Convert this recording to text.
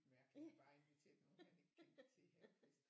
Mærkelig bare inviterede nogen han ikke kendte til havefest